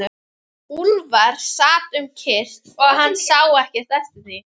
Úlfar sat um kyrrt og hann sá ekki eftir því.